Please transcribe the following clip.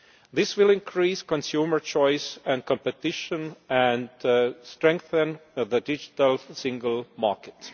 This will increase consumer choice and competition, and will strengthen the Digital Single Market.